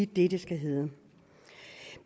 det det skal hedde